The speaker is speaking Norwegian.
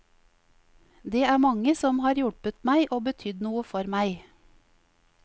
Det er mange som har hjulpet meg og betydd noe for meg.